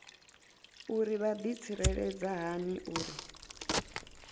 uri vha ḓitsireledza hani uri